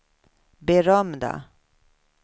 berömda